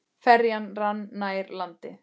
Ferjan rann nær landi.